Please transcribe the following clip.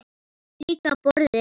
Líka borðið.